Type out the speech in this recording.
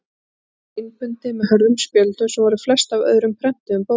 Sumt var innbundið með hörðum spjöldum sem voru flest af öðrum prentuðum bókum.